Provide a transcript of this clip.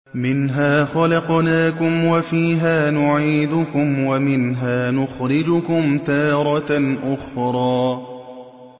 ۞ مِنْهَا خَلَقْنَاكُمْ وَفِيهَا نُعِيدُكُمْ وَمِنْهَا نُخْرِجُكُمْ تَارَةً أُخْرَىٰ